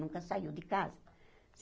Nunca saiu de casa.